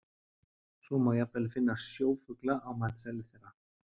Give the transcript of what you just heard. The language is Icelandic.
Svo má jafnvel finna sjófugla á matseðli þeirra.